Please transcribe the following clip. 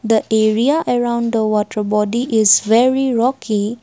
the area around the water body is very rocky.